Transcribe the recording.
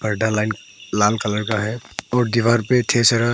line लाल colour का है और दीवार पे ढेर सारा--